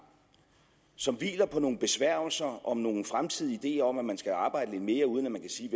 som hviler på nogle besværgelser om nogle fremtidige ideer om at man skal arbejde lidt mere uden at man kan sige